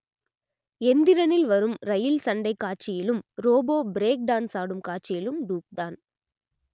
எந்திரனில் வரும் ரயில் சண்டைக் காட்சியிலும் ரோபோ பிரேக் டான்ஸ் ஆடும் காட்சியிலும் டூப் தான்